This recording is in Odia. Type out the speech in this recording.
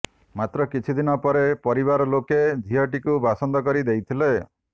ମାତ୍ର କିଛି ଦିନ ପରେ ପରିବାର ଲୋକେ ଝିଅଟିକୁ ବାସନ୍ଦ କରି ଦେଇଥିଲେ